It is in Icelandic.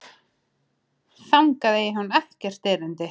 Þangað eigi hún ekkert erindi.